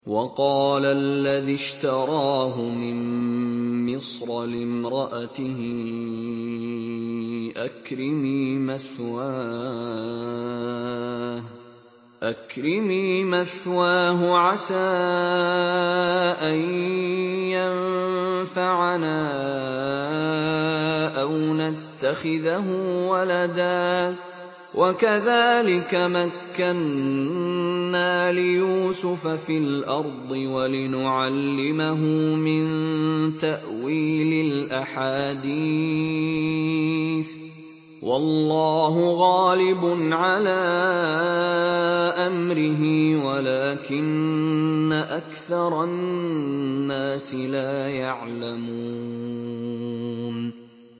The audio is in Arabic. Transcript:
وَقَالَ الَّذِي اشْتَرَاهُ مِن مِّصْرَ لِامْرَأَتِهِ أَكْرِمِي مَثْوَاهُ عَسَىٰ أَن يَنفَعَنَا أَوْ نَتَّخِذَهُ وَلَدًا ۚ وَكَذَٰلِكَ مَكَّنَّا لِيُوسُفَ فِي الْأَرْضِ وَلِنُعَلِّمَهُ مِن تَأْوِيلِ الْأَحَادِيثِ ۚ وَاللَّهُ غَالِبٌ عَلَىٰ أَمْرِهِ وَلَٰكِنَّ أَكْثَرَ النَّاسِ لَا يَعْلَمُونَ